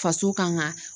Faso kan ka